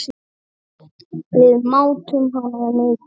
Við mátum hana mikils.